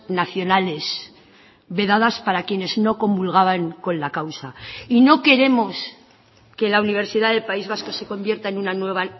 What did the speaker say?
nacionales vedadas para quienes no comulgaban con la causa y no queremos que la universidad del país vasco se convierta en una nueva